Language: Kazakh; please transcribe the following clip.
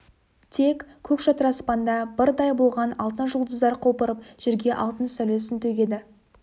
тек көк шатыр аспанда бырдай болған алтын жұлдыздар құлпырып жерге алтын сәулесін төгеді